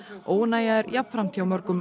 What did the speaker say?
óánægja er jafnframt hjá mörgum